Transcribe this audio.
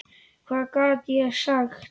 Hvað gat ég sagt?